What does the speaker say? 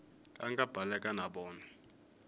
a nga baleka na vona